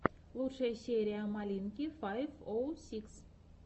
лучшая серия малинки файв оу сикс